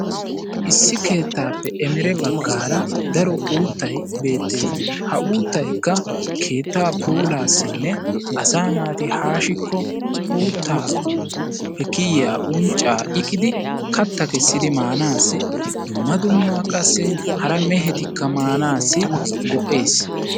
Issi keettape emere baggaara daro uutay beetees. Ha uutayka keetta puulaasine asa naati haashiko uutaape kiyiya uncca iqidi katta kesidi maanasi dumma dumma qassi hara mehetika maanasi go'ees'